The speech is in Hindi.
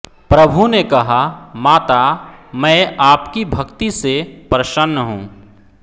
प्रभु ने कहा माता मैं आपकी भक्ति से प्रसन्न हूं